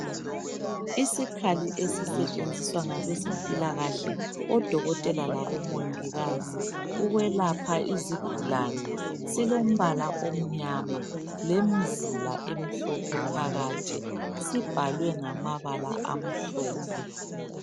Isikhali esisetshenziswa ngabezempilakahle odokotela labomongikazi ukwelapha izigulane silombala omnyama lemzila emhlophe phakathi sibhalwe ngamabala amhlophe.